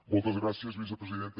moltes gràcies vicepresidenta